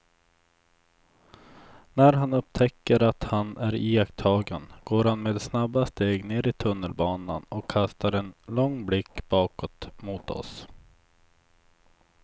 När han upptäcker att han är iakttagen går han med snabba steg ner i tunnelbanan och kastar en lång blick bakåt mot oss.